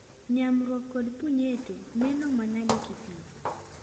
Nyamruok kod punyeto neno manade kithieth?